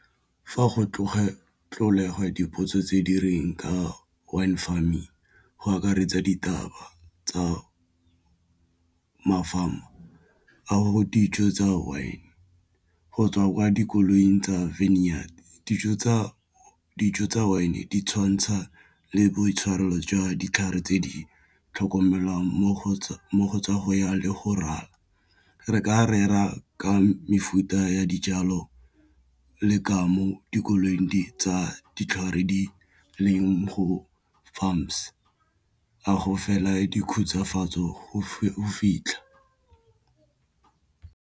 Fa go tlogela dipotso tse di reng ka Wine Farming go akaretsa ditaba tsa mafelo a go ditso tsa one go tswa kwa dikolong tsa vine yard dijo tsa wine di tshwantsha le boitshwaro jwa ditlhare tse di tlhokomelang mo go tsa ya le go raya re ka rera ka mefuta ya dijalo le ka mo dikoloing tsa ditlhare di leng go farms, a go fela di khutshwafatse tseo go fitlha.